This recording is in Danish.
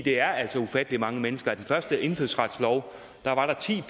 er altså ufattelig mange mennesker på den første indfødsretslov var der ti